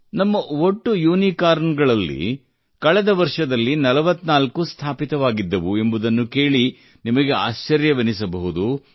ನಮ್ಮ ಒಟ್ಟು ಯುನಿಕಾರ್ನ್ ಗಳಲ್ಲಿ ಇಡೀ ವರ್ಷದಲ್ಲಿ ಕೇವಲ 44 ಸ್ಥಾಪಿತವಾಗಿದ್ದವು ಎಂಬುದನ್ನು ಕೇಳಿ ನಿಮಗೆ ಆಶ್ಚರ್ಯವೆನಿಸಬಹುದು